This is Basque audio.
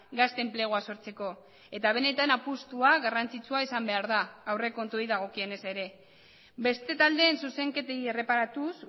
gazte enplegua sortzeko eta benetan apustua garrantzitsua izan behar da aurrekontuei dagokienez ere beste taldeen zuzenketei erreparatuz